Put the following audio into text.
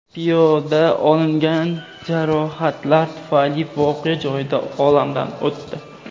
Piyoda olingan jarohatlar tufayli voqea joyida olamdan o‘tdi.